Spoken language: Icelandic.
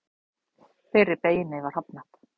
Þeirri beiðni var hafnað